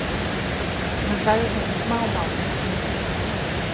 Hann sagði þetta smámál.